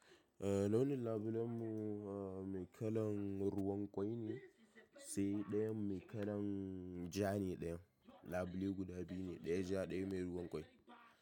Eh launin labulen mu mai kalan ruwan ƙwai ne, sai ɗayan mai kalan ja ne dayan. Labulen guda biyu ne, ɗaya ja, ɗaya mai ruwan ƙwai.